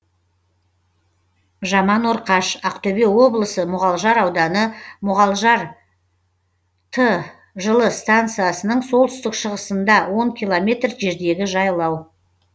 жаманорқаш ақтөбе облысы мұғалжар ауданы мұғалжар т жылы станциясының солтүстік шығысында он километр жердегі жайлау